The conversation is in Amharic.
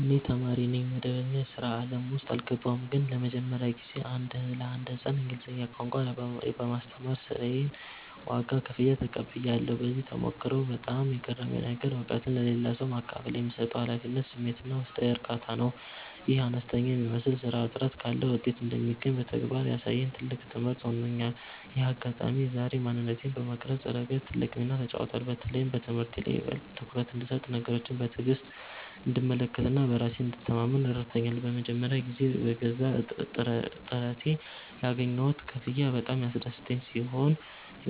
እኔ ተማሪ ነኝ፣ መደበኛ የሥራ ዓለም ውስጥ አልገባሁም። ግን ለመጀመሪያ ጊዜ ለአንድ ሕፃን እንግሊዝኛ ቋንቋ በማስተማር የሥራዬን ዋጋ (ክፍያ) ተቀብያለሁ። በዚህ ተሞክሮ ውስጥ በጣም የገረመኝ ነገር፣ እውቀትን ለሌላ ሰው ማካፈል የሚሰጠው የኃላፊነት ስሜትና ውስጣዊ እርካታ ነው። ይህ አነስተኛ የሚመስል ሥራ ጥረት ካለ ውጤት እንደሚገኝ በተግባር ያሳየኝ ትልቅ ትምህርት ሆኖኛል። ይህ አጋጣሚ የዛሬ ማንነቴን በመቅረጽ ረገድ ትልቅ ሚና ተጫውቷል። በተለይም በትምህርቴ ላይ ይበልጥ ትኩረት እንድሰጥ፣ ነገሮችን በትዕግሥት እንድመለከትና በራሴ እንድተማመን ረድቶኛል። ለመጀመሪያ ጊዜ በገዛ ጥረቴ ያገኘሁት ክፍያ በጣም ያስደሰተኝ ሲሆን፣